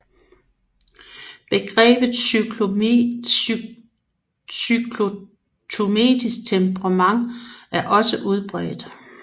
Begrebet cyklotymisk temperament er også udbredt